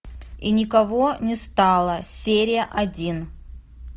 и никого не стало серия один